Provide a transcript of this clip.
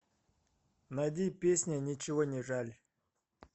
найди песня ничего не жаль